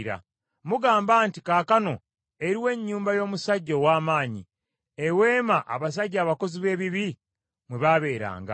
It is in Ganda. Mugamba nti, ‘Kaakano eruwa ennyumba y’omusajja ow’amaanyi, eweema abasajja abakozi b’ebibi mwe baabeeranga?’